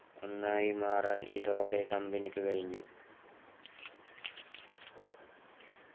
ഒന്നായി മാറാൻ ഇതോടെ കമ്പനിക്ക് കഴിഞ്ഞു